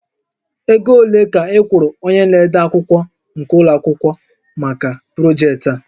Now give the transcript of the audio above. Ego ole ka ị kwụrụ onye na-ede akwụkwọ nke ụlọ akwụkwọ maka projektị a?